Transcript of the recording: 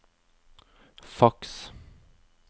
faks